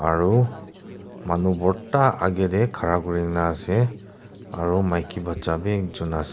Aro manu bhorta age tey khara kurina ase aro maki bacha bi ekjun as--